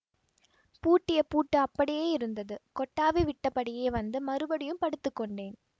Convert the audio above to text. பூட்டிய பூட்டு அப்படியே இருந்தது கொட்டாவி விட்டபடியே வந்து மறுபடியும் படுத்துக்கொண்டேன்